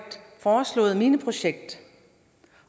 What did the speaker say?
foreslået mineprojekt